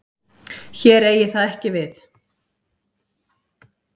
Hér eigi það ekki við.